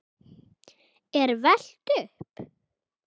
er velt upp.